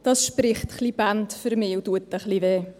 Dies spricht für mich Bände und tut ein bisschen weh.